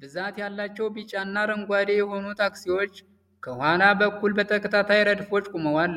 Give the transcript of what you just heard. ብዛት ያላቸው ቢጫና አረንጓዴ የሆኑ ታክሲዎች ከኋላ በኩል በተከታታይ ረድፎች ቆመዋል።